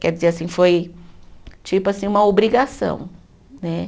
Quer dizer assim, foi tipo assim uma obrigação né.